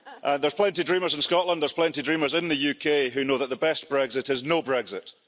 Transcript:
There's plenty dreamers in Scotland, there's plenty dreamers in the UK who know that the best Brexit is no Brexit.